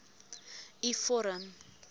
u vorm